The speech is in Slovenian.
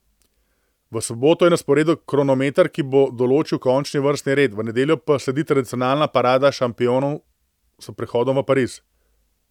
V soboto je na sporedu kronometer, ki bo določil končni vrstni red, v nedeljo pa sledi tradicionalna parada šampionov s prihodom v Pariz.